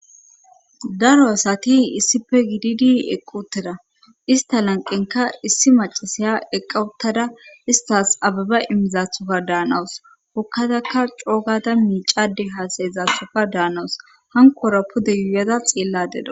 daro asati issife giididi eqquteda ista lanqenka issi macasaya eqqawuttada istas ababa immizaathoka daanawus hokkataka coogata miicade haasayezathoka daanawus hanqora pude yuuyada xeella deda